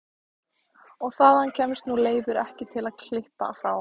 Og þangað kemst nú Leifur ekki til að klippa frá.